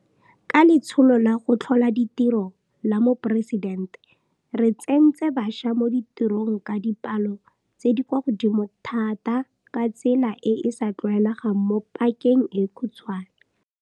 Ka Letsholo la go Tlhola Ditiro la Moporesidente, re tsentse bašwa mo ditirong ka dipalo tse di kwa godimo thata ka tsela e e sa tlwaelegang mo pakeng e khutshwane.